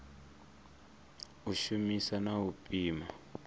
u shumisa na u pima